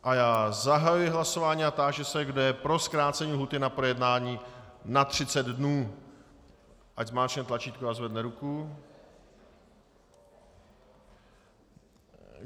A já zahajuji hlasování a táži se, kdo je pro zkrácení lhůty na projednání na 30 dnů, ať zmáčkne tlačítko a zvedne ruku.